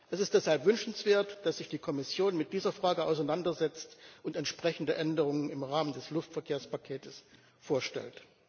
Es ist deshalb wünschenswert, dass sich die Kommission mit dieser Frage auseinandersetzt und entsprechende Änderungen im Rahmen des Luftverkehrspakets vorstellt.